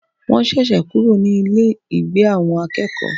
Wọ́n ṣẹ̀ṣẹ̀ kúrò ní Ile-igbe awon akeeko